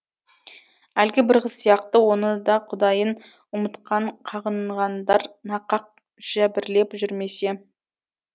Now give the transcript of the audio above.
әлгі бір қыз сияқты оны да құдайын ұмытқан қағынғандар нақақ жәбірлеп жүрмесе